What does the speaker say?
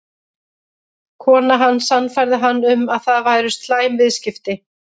Konan hans sannfærði hann um að það væru slæm viðskipti.